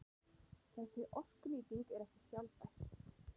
Þessi orkunýting er ekki sjálfbær.